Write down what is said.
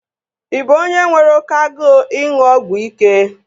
Ị bụ onye nwere oké agụụ ịṅụ ọgwụ ike?